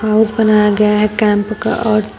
house बनाया गया है कैंप का और--